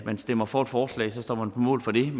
man stemmer for et forslag og så står man på mål for det